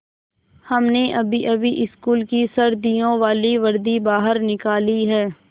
हमने अभीअभी स्कूल की सर्दियों वाली वर्दी बाहर निकाली है